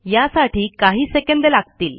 यासाठी काही सेकंद लागतील